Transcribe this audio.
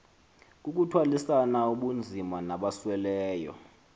kukuthwalisana ubunzima nabasweleyo